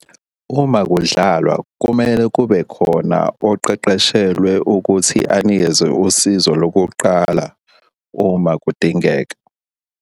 Uma kudlalwa kumele kube khona oqeqeshelwe ukuthi anikeze usizo lokuqala uma kudingeka.